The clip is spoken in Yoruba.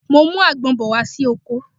Mo ń mú àgbon bọ̀ wá sí oko